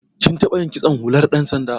Kin taɓa yin kitson hular ɗan sanda.